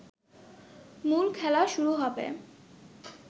মূল খেলা শুরু হবে